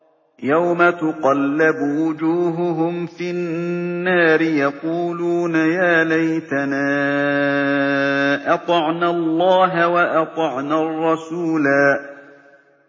يَوْمَ تُقَلَّبُ وُجُوهُهُمْ فِي النَّارِ يَقُولُونَ يَا لَيْتَنَا أَطَعْنَا اللَّهَ وَأَطَعْنَا الرَّسُولَا